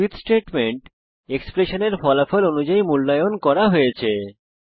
switch statement এক্সপ্রেশনের ফলাফল অনুযায়ী মূল্যায়ন করা হয়েছে